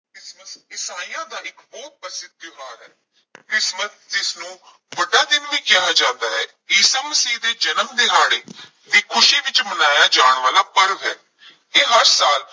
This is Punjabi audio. ਕ੍ਰਿਸਮਸ ਈਸਾਈਆਂ ਦਾ ਇਕ ਬਹੁਤ ਪ੍ਰਸਿੱਧ ਤਿਉਹਾਰ ਹੈ ਕ੍ਰਿਸਮਸ ਜਿਸ ਨੂੰ ਵੱਡਾ ਦਿਨ ਵੀ ਕਿਹਾ ਜਾਂਦਾ ਹੈ, ਈਸਾ ਮਸੀਹ ਦੇ ਜਨਮ ਦਿਹਾੜੇ ਦੀ ਖੁਸ਼ੀ ਵਿੱਚ ਮਨਾਇਆ ਜਾਣ ਵਾਲਾ ਪਰਵ ਹੈ ਇਹ ਹਰ ਸਾਲ